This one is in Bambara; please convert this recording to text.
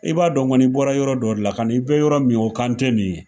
I b'a dɔn kɔni i bɔra yɔrɔ dɔ de la ka na, i bɛ yɔrɔ min o kan tɛ nin ye.